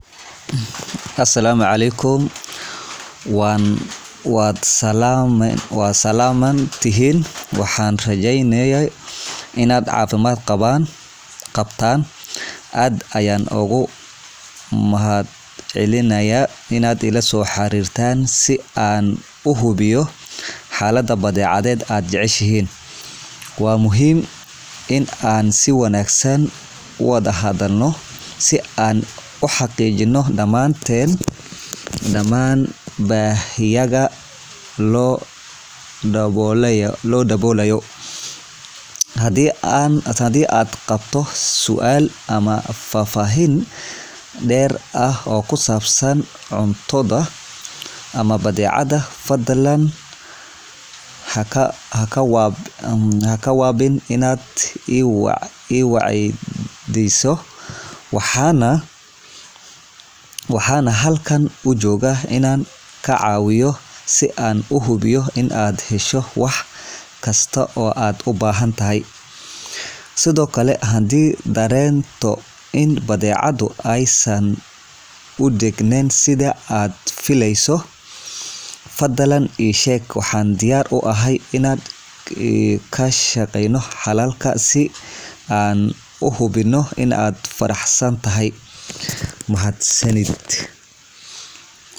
Asalaamu Caleykum Warahmatullaahi Wabarakaatuh, Waad salaaman tihiin dhammaantiin, waxaan rajeynayaa inaad caafimaad qabtaan. Aad ayaan ugu mahadcelinayaa xiriirka aad ila soo sameyseen si aan u hubiyo xaaladda badeecaddii aad jecleysay. Waxaa muhiim ah in aan si wanaagsan u wada hadalno si aan u xaqiijino in dhammaan baahiyaha la xiriira dalabkaaga si buuxda loo daboolo. Haddii aad qabto su'aal ama aad u baahato faahfaahin dheeri ah oo ku saabsan cuntada ama badeecada, fadlan ha ka waaban inaad i weydiiso. Waxaan halkaan u joogaa inaan ku caawiyo, si aan u hubiyo inaad hesho adeeg walba oo aad u baahan tahay. Sidoo kale, haddii aad dareento in badeecadu aysan u dhignayn sida aad filaysay, fadlan ii sheeg si aan uga shaqeyno xal waara. Ujeedadaydu waa inaan hubiyo inaad ku qanacsan tahay islamarkaana aad ku faraxsan tahay adeega aad heshay. Mahadsanidiin.